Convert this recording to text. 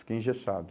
Fiquei engessado.